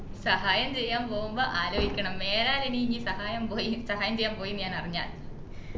സഹായം ചെയ്യാൻ പോവുമ്പോ ആലോയിക്കണം മേലാൽ ഇനി ഇയ്യ്‌ സഹായം പോയി സഹായം ചെയ്യാൻ പോയി ന്നു ഞാൻ അറിഞ്ഞാ